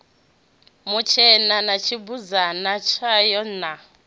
mutshena na tshibudzana tshayo na